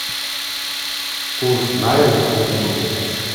курс найры к фунту